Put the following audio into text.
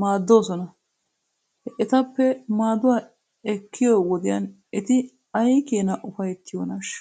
maaddoosona. He etappe maaduwaa ekkiyoo wodiyan eti aykeenaa ufayttiyoonaashsha?